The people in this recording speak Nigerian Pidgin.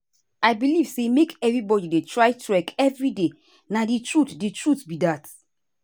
i believe say make everybody dey try trek every day na the truth the truth be that.